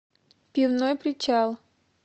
пивной причал